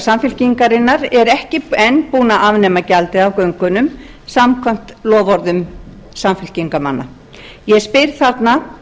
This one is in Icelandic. samfylkingarinnar er ekki enn búinn að afnema gjaldið af göngunum samkvæmt loforðum samfylkingarmanna ég spyr þarna